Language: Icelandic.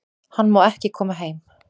Hann má ekki koma heim